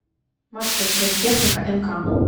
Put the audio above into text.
маршрут медтехника нк